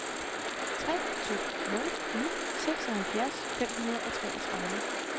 tre to nul ni seksoghalvfjerds fem hundrede og treogtredive